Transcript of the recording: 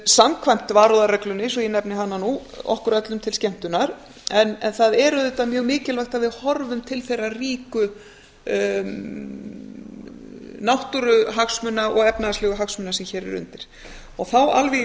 samkvæmt varúðarreglunni svo ég nefni hana nú okkur öllum til skemmtunar en það er auðvitað mjög mikilvægt að við horfum til þeirra ríku náttúruhagsmuna og efnahagslegu hagsmuna sem hér eru undir þá alveg